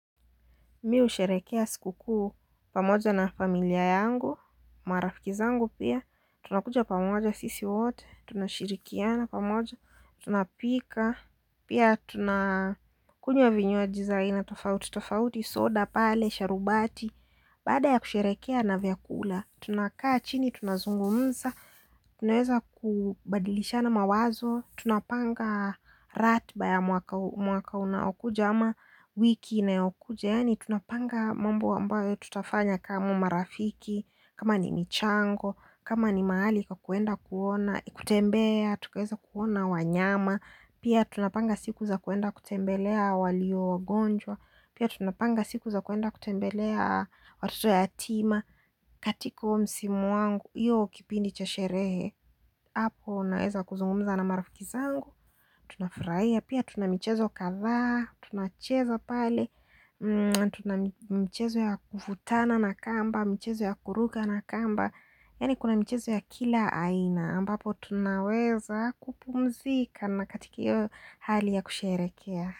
Mimi husherehekea sikukuu pamoja na familia yangu, marafiki zangu pia, tunakuja pamoja sisi wote, tunashirikiana pamoja, tunapika, pia tunakunywa vinywaji za aina, tofauti, tofauti, soda, pale, sharubati, baada ya kusherehekea na vyakula. Tunakaa chini, tunazungumza, tunaeza kubadilishana mawazo, tunapanga ratiba ya mwaka mwaka unaokuja ama wiki inayokuja yaani tunapanga mambo ambayo tutafanya kama marafiki, kama ni michango, kama ni mahali pa kuenda kuona, kutembea, tukiweza kuona wanyama pia tunapanga siku za kuenda kutembelea walio wagonjwa, pia tunapanga siku za kuenda kutembelea watoto yatima katika huo msimu wangu hiyo kipindi cha sherehe hapo unaeza kuzungumza na marafiki zangu tunafurahia pia tuna michezo kadhaa tunacheza pale tuna mchezo ya kukutana na kamba mchezo ya kuruka na kamba yaani kuna michezo ya kila aina ambapo tunaweza kupumzika na katika hiyo hali ya kusherehekea.